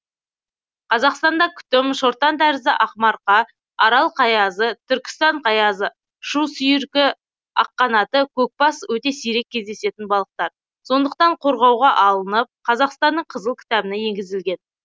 қазақстанда күтім шортантәрізді ақмарқа арал қаязы түркістан қаязы шу сүйіркі аққанаты көкбас өте сирек кездесетін балықтар сондықтан қорғауға алынып қазақстанның қызыл кітабына енгізілген